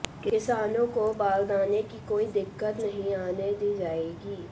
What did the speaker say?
किसानों को बारदाने की कोई दिक्कत नहीं आने दी जाएगी